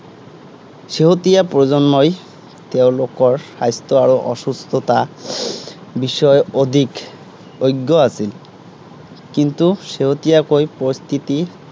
শেহতীয়া প্ৰজন্মই, তেওঁলোকৰ স্বাস্থ্য় আৰু অসুস্থতাৰ বিষয়ে অধিক অজ্ঞ আছিল। কিন্তু শেহতীয়াকৈ প্ৰকৃতিৰ